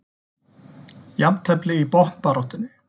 Jafntefli í botnbaráttunni